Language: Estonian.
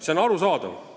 See on arusaadav.